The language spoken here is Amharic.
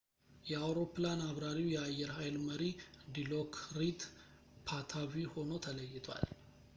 የአውሮፕላን አብራሪው የአየር ሀይል መሪ ዲሎክሪት ፓታቪ ሆኖ ተለይቷል